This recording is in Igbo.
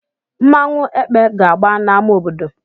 Nmanwu "Ekpe" ga-agba na ama obodo.